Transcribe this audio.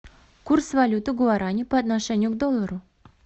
курс валюты гуарани по отношению к доллару